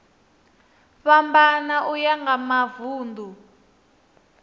fhambana uya nga mavun ḓu